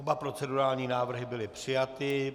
Oba procedurální návrhy byly přijaty.